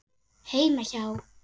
Heima hjá